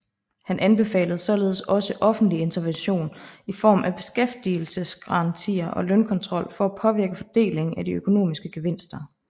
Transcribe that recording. Han anbefalede således også offentlig intervention i form af beskæftigelsesgarantier og lønkontrol for at påvirke fordelingen af de økonomiske gevinster